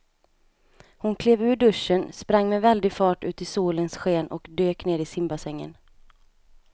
Hon klev ur duschen, sprang med väldig fart ut i solens sken och dök ner i simbassängen.